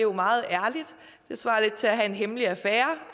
jo meget ærligt det svarer lidt til at have en hemmelig affære